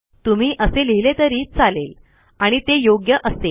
तुम्ही असे लिहिले तरी चालेल आणि ते योग्य असेल